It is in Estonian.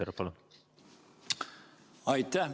Aitäh!